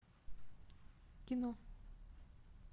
кино